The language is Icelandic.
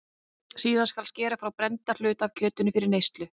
Síðan skal skera frá brennda hluta af kjötinu fyrir neyslu.